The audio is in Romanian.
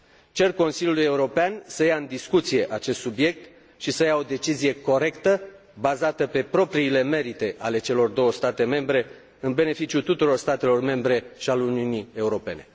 Cer Consiliului European să ia în discuție acest subiect și să ia o decizie corectă, bazată pe propriile merite ale celor două state membre, în beneficiul tuturor statelor membre și al Uniunii Europene.